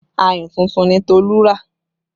Ayùn tuntun ni Tolu rà